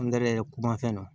Angɛrɛ yɛlɛ ko man fɛn na